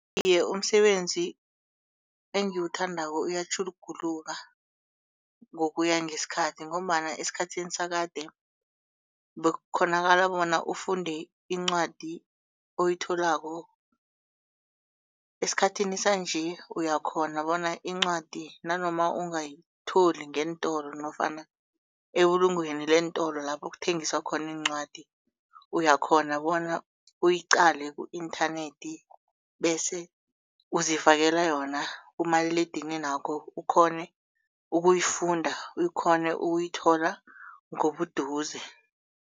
Iye, umsebenzi engiwuthandako uyatjhuguluka ngokuya ngesikhathi ngombana esikhathini sakade bekukghonakala bona ufunde incwadi oyitholako. Esikhathini sanje uyakghona bona incwadi nanoma ungayitholi ngeentolo nofana ebulungweni leentolo lapho kuthengiswa khona iincwadi. Uyakghona bona uyiqale ku-internet bese uzifakela yona kumaliledinini wakho ukghone ukuyifunda ukghone ukuyithola ngobuduze.